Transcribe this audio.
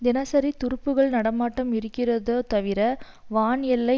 தினசரி துருப்புக்கள் நடமாட்டம் இருக்கதொ தவிர வான் எல்லை